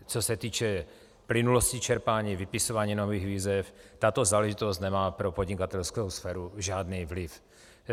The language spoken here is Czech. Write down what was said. Co se týče plynulosti čerpání, vypisování nových výzev, tato záležitost nemá pro podnikatelskou sféru žádný vliv.